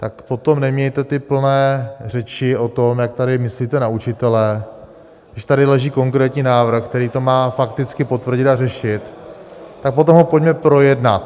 Tak potom nemějte ty plné řeči o tom, jak tady myslíte na učitele, když tady leží konkrétní návrh, který to má fakticky potvrdit a řešit, tak potom ho pojďme projednat.